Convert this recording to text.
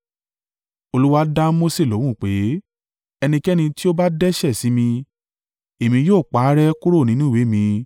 Olúwa dá Mose lóhùn pé, “Ẹnikẹ́ni tí ó bá dẹ́ṣẹ̀ sí mi, Èmi yóò pa á rẹ́ kúrò nínú ìwé mi.